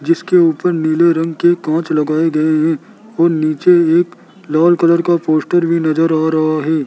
जिसके ऊपर नीले रंग के कांच लगाए गए है और नीचे एक लाल कलर का पोस्टर भी नजर आ रहा है।